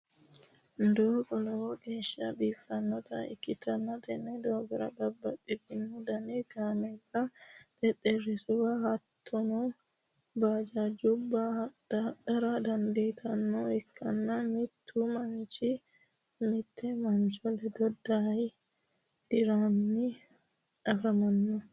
doogo lowo geesha biifannota ikitanna tenne doogora babaxitino danni kameela xexerisuwa hatonno bajajjuwa hadhara dandiitanoha ikanna mittu manchi mitte mancho leddo daye diranni afamanno.